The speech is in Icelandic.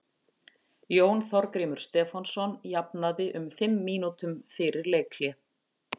Jón Þorgrímur Stefánsson jafnaði um fimm mínútum fyrir leikhlé.